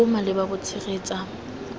bo bo maleba bo tshegetsa